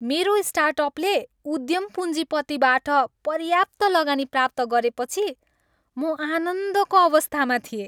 मेरो स्टार्टअपले उद्यम पुँजीपतिबाट पर्याप्त लगानी प्राप्त गरेपछि म आनन्दको अवस्थामा थिएँ।